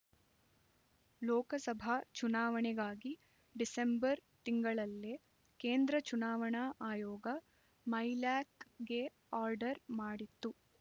ಲೋಕಸಭಾ ಚುನಾವಣೆಗಾಗಿ ಡಿಸೆಂಬರ್ ತಿಂಗಳಲ್ಲೇ ಕೇಂದ್ರ ಚುನಾವಣಾ ಆಯೋಗ ಮೈಲ್ಯಾಕ್ ಗೆ ಆರ್ಡರ್ ಮಾಡಿತ್ತು